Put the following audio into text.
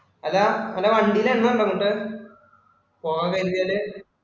Hello Hello വണ്ടിയില് എണ്ണ അങ്ങോട്ട്? പോകാൻ കഴിഞ്ഞേല്